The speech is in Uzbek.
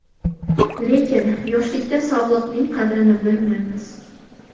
Lekin, yoshlikda sog‘liqning qadrini bilmaymiz.